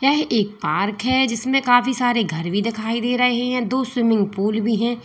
यह एक पार्क है जिसमें काफी सारे घर भी दिखाई दे रहे है दो स्विमिंग पूल भी है।